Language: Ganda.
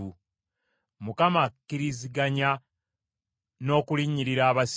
Mukama akkiriziganya n’okulinnyirira abasibe,